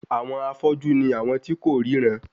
Àwọn afọ́jú ni àwọn tí kò ríran